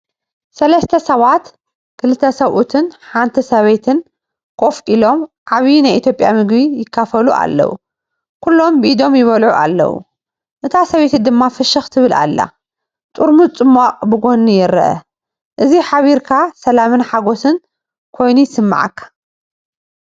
ሰለስተ ሰባት ክልተ ሰብኡትን ሓንቲ ሰበይትን ኮፍ ኢሎም ዓቢ ናይ ኢትዮጵያ ምግቢ ይካፈሉ ኣለዉ። ኩሎም ብኢዶም ይበልዑ ኣለዉ፡ እታ ሰበይቲ ድማ ፍሽኽ ትብል ኣላ። ጥርሙዝ ጽማቝ ብጎኒ ይርአ። እዚ ሓቢርካ ሰላምን ሓጎስን ኮይኑ ይስምዓካ።